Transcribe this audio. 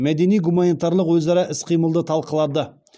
мәдени гуманитарлық өзара іс қимылды талқылады